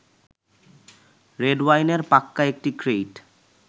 রেডওয়াইনের পাক্কা একটি ক্রেইট